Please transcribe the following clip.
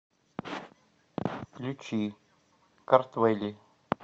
включи картвэлли